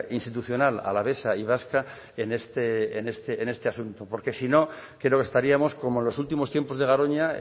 institucional alavesa y vasca en este asunto porque si no creo que estaríamos como en los últimos tiempos de garoña